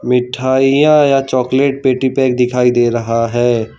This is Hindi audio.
मिठाइयां या चॉकलेट पेटी पैक दिखाई दे रहा है।